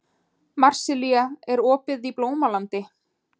Marsilía, er opið í Blómalandi?